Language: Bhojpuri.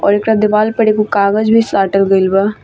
और एकरा दीवाल पर एगो कागज़ भी साटल गइल बा।